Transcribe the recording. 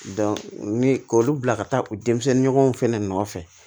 ni k'olu bila ka taa u denmisɛnninw fɛnɛ nɔfɛ